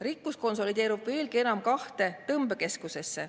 Rikkus konsolideerub veelgi enam kahte tõmbekeskusesse.